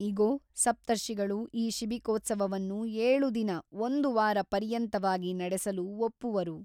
ಇಗೋ ಸಪ್ತರ್ಷಿಗಳು ಈ ಶಿಬಿಕೋತ್ಸವವನ್ನು ಏಳು ದಿನ ಒಂದು ವಾರ ಪರ್ಯಂತವಾಗಿ ನಡೆಸಲು ಒಪ್ಪುವರು.